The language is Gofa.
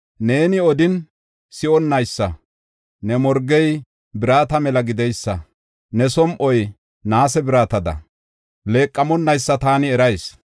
Neeni odin si7onnaysa, ne morgey birata mela gideysa ne som7oy naase biratada leeqamonaysa taani erayis.